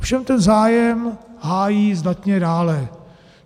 Ovšem ten zájem hájí zdatně dále.